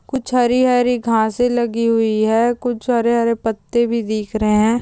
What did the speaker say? कुछ हरी-हरी घासे लगी हुई है कुछ हरे-हरे पत्ते भी दिख रहे है।